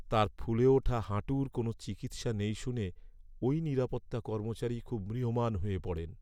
তাঁর ফুলে ওঠা হাঁটুর কোনও চিকিৎসা নেই শুনে ওই নিরাপত্তা কর্মচারী খুব ম্রিয়মাণ হয়ে পড়েন।